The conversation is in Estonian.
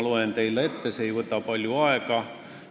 See ei võta palju aega.